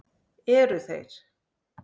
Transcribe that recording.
Eru þeir